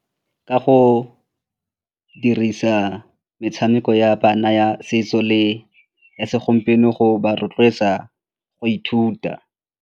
Ka go dirisa metshameko ya bana ya setso le ya segompieno go ba rotloetsa go ithuta.